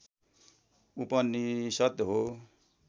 उपनिषद् हो